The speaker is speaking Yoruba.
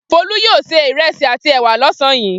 Folú yóò se ìrẹsì àti ẹ̀wà lọ́sàn-án yìí.